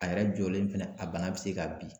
A yɛrɛ jɔlen fɛnɛ, a bana be se ka bin.